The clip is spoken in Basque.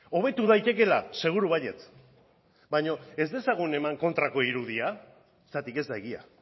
hobetu daitekeela seguru baietz baino ez dezagun eman kontrako irudia zergatik ez da egia